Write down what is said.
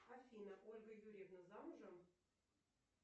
афина ольга юрьевна замужем